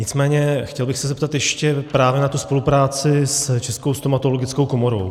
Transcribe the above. Nicméně chtěl bych se zeptat ještě právě na tu spolupráci s Českou stomatologickou komorou.